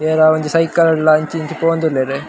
ಏರ ಒಂಜಿ ಸೈಕಲ್ಡ ಅಂಚಿ ಇಂಚಿ ಪೋವೊಂದುಲ್ಲೆರ್.